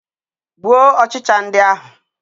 Gbuo ọchịcha ndị ahụ.